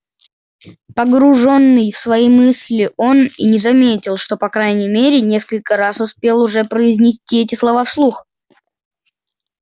погруженный в свои мысли он и не заметил что по крайней мере несколько раз успел уже произнести эти слова вслух